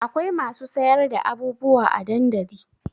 Akwai masu sayar da abubuwa a dandali